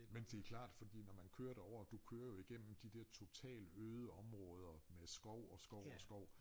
Men det klart fordi når man kører derovre du kører jo igennem de der totalt øde områder med skov og skov og skov